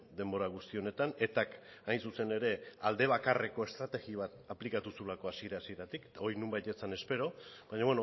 denbora guzti honetan etak hain zuzen ere alde bakarreko estrategia bat aplikatu zuelako hasiera hasieratik eta hori nonbait ez zen espero baina